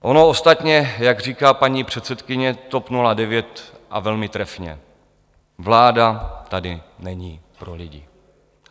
Ono ostatně, jak říká paní předsedkyně TOP 09, a velmi trefně, vláda tady není pro lidi.